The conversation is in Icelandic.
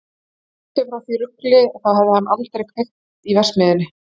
En burtséð frá því rugli, þá hefði hann aldrei kveikt í verksmiðjunni!